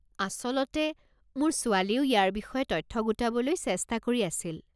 আচলতে, মোৰ ছোৱালীয়েও ইয়াৰে বিষয়ে তথ্য গোটাবলৈ চেষ্টা কৰি আছিল।